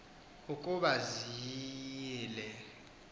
ukuba ziyile iqhinga